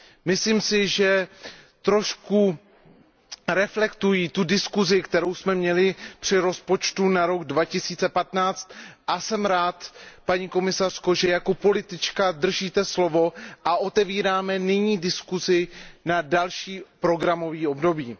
Myslím si, že trošku reflektují tu diskuzi, kterou jsme měli při rozpočtu na rok 2015, a jsem rád, paní komisařko, že jako politička držíte slovo a otevíráme nyní diskuzi na další programové období.